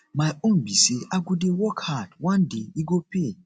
my own be say i go dey work hard one day e go pay